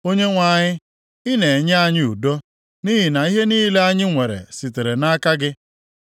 Onyenwe anyị, ị na-enye anyị udo; nʼihi na ihe niile anyị nwere sitere nʼaka gị.